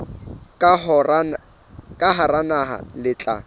ka hara naha le tla